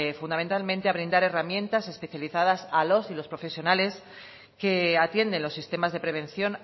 fundamentalmente a brindar herramientas especializadas a los y las profesionales que atienden los sistemas de prevención